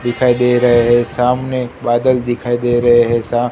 दिखाई दे रहे है सामने बादल दिखाई दे रहे है सा--